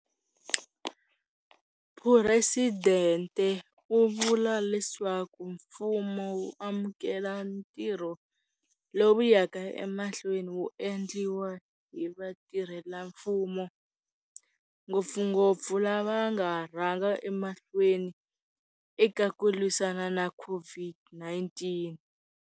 Phuresidente u vula leswaku mfumo wu amukela ntirho lowu wu yaka emahlweni wu endliwa hi vatirhelamfumo, ngopfungopfu lava nga rhanga emahlweni eka ku lwisana na COVID-19.